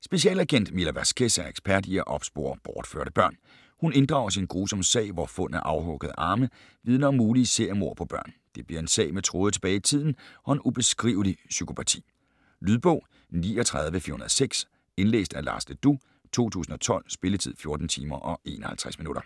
Specialagent Mila Vasquez er ekspert i at spore bortførte børn. Hun inddrages i en grusom sag, hvor fund af afhuggede arme vidner om mulige seriemord på børn. Det bliver en sag med tråde tilbage i tiden og en ubeskrivelig psykopati. Lydbog 39406 Indlæst af Lars Le Dous, 2012. Spilletid: 14 timer, 51 minutter.